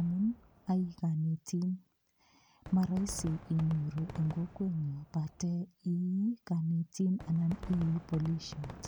amun a konetin. Moroisi inyoru en kokwenyun yoche imi ko ii konetin ana ko ii polisiot.